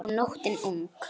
Og nóttin ung.